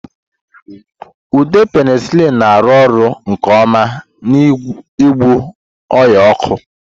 Ude penicillin na-arụ ọrụ nke ọma n'ịgwọ ọnya ọkụ.